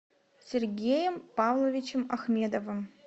сергеем павловичем ахмедовым